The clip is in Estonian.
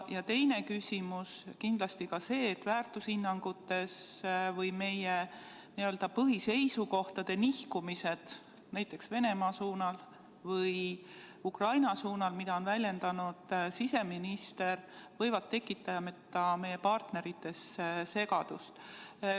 Ja teine küsimus on kindlasti see, et väärtushinnangute või meie põhiseisukohtade nihkumised, näiteks Venemaa suunal või Ukraina suunal, mida on väljendanud siseminister, võivad tekitada meie partnerites segadust.